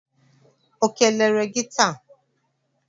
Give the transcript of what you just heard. O kelere gị taa?